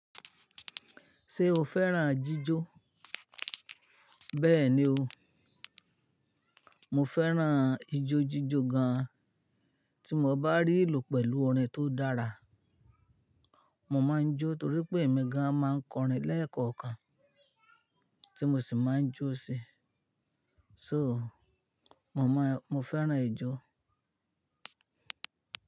Ṣé o fẹ́ràn jíjó? Bẹ́ẹ̀ni o, mo fẹ́ràn ijójíjó gan. Tí mo bá rí ìlú pẹ̀lú orin tó dára, mo máa ń jó torí pé èmi gan máa ń kọrin lẹ́ẹ̀kọ̀kan tí mo sì máa ń jó sí. So, mo máa, mo fẹ́ràn ijó.